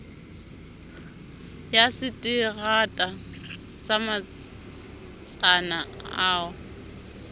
ya seterata sa motsana oo